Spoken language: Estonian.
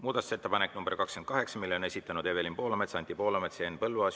Muudatusettepaneku nr 28 on esitanud Evelin Poolamets, Anti Poolamets, Henn Põlluaas.